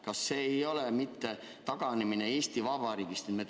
Kas see ei ole mitte taganemine Eesti Vabariigist?